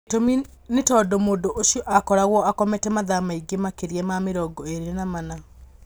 Gĩtũmi nĩ tondũ mũndũ ũcio akoragwo akomete mathaa maingĩ makĩria ma mĩrongo ĩrĩ na mana